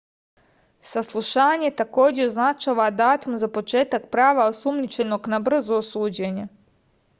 saslušanje takođe označava datum za početak prava osumnjičenog na brzo suđenje